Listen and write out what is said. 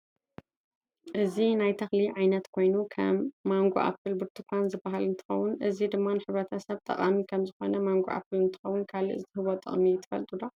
እዚናይ ናይ ተክሊ ዓይነት ኮይኑ ከም ማንጎኣፕል ቡርትካን ዝበሃል እንትከውን እዚ ድማ ንሕብረተሰብ ጠቃም ከም ዝኮነ ማንጎኣፕል እንትከውን ካልእ ዝህቦ ጥቅሚትፈልጡዶ?